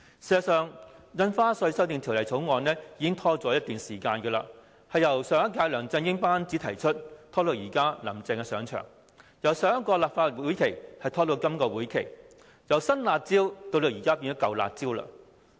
事實上，《條例草案》已經延擱一段時間，由上一屆梁振英班子提出，延至現屆"林鄭"新班子上場；由上一個立法會會期，拖延至今個會期；由"新辣招"到現在變成"舊辣招"。